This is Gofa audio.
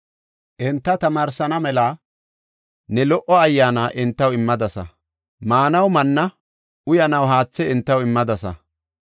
Enta tamaarsana mela ne lo77o Ayyaana entaw immadasa. Maanaw manna, uyanaw haathe entaw immadasa.